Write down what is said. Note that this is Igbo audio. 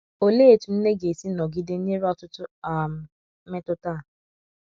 olee etụ nne ga esi nọgide nyere ọtụtụ um mmetụta a.